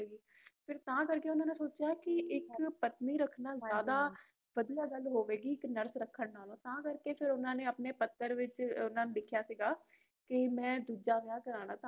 ਫਿਰ ਤਾਂ ਕਰਕੇ ਓਹਨਾ ਨੇ ਸੋਚਿਆ ਕਿ ਇਕ ਪਤਨੀ ਕਿੰਨਾ ਜਾਦਾ ਵਦੀਆ ਗਲ ਹੋਵੇਗੀ ਇਕ nurse ਰਖਣ ਨਾਲੋ ਤਾਂ ਕਰਕੇ ਫੇਰ ਓਹਨਾ ਨੇ ਪੱਤਰ ਵਿਚ ਲਿਖਿਆ ਸੀਗਾ ਕਿ ਮੈ ਦੂਜਾ ਵਿਆਹ ਕਤਵੋਨਾ